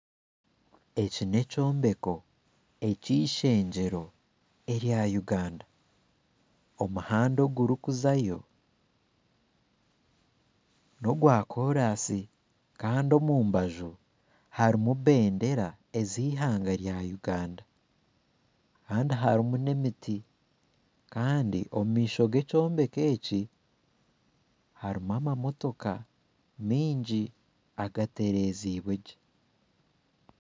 Eki n'ekyombeko eki ishengyero rya Uganda omuhanda oguri kuzayo nogwa kooransi kandi omubanju harimu bendeera ezi ihanga rya Uganda kandi harimu n'emiti, kandi omumaisho g'ekyombeko eki harimu amamotooka maingi agaterezibwe gye.